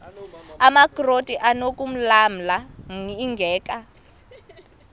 amakrot anokulamla ingeka